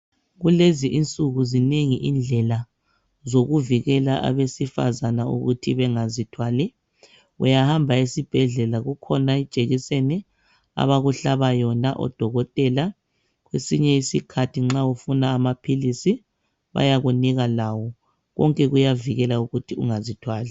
Kulezi insuku zinengi indlela zokuvikela abesifazana ukuthi bengazithwali uyahamba esibhedlela kukhona ijekiseni abakuhlaba yona odokotela ngesinye isikhathi nxa ufuna amaphilisi bayakunika lawo konke kuyavikela ukuthi ungazithwali.